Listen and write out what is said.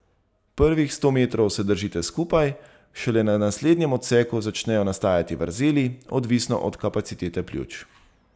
Prvih sto metrov se držite skupaj, šele na naslednjem odseku začnejo nastajati vrzeli, odvisno od kapacitete pljuč.